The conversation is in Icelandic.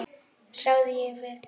sagði ég við